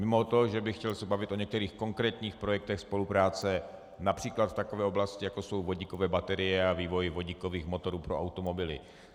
Mimo to, že by chtěl se bavit o některých konkrétních projektech spolupráce například v takové oblasti, jako jsou vodíkové baterie a vývoj vodíkových motorů pro automobily.